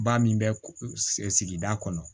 Ba min bɛ sigida kɔnɔ